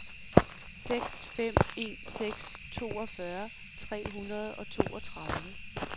seks fem en seks toogfyrre tre hundrede og toogtredive